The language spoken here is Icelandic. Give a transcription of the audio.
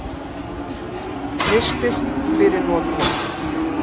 Hristist fyrir notkun.